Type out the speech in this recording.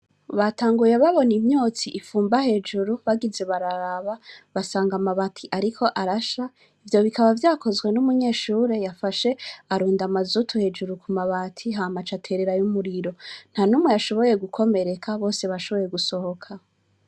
Batanguye babona imyotsi ifumba hejuru bagize bararaba basanga amabati, ariko arasha ivyo bikaba vyakozwe n'umunyeshure yafashe arunda amazutu hejuru ku mabati ha maca aterera y'umuriro nta numwe yashoboye gukomereka bose bashoboye gusohoka.